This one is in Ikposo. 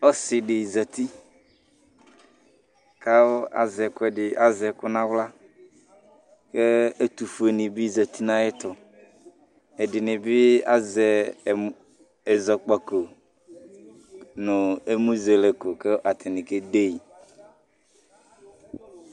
Ɔsɩdɩ zati kʋ azɛ ɛkʋɛdɩ, azɛ ɛkʋ nʋ aɣla kʋ ɛtʋfuenɩ bɩ zati nʋ ayɛtʋ. Ɛdɩnɩ bɩ azɛ ɛmʋ ɛzɔkpako nʋ ɛmʋzɛlɛko kʋ atanɩ kede yɩ.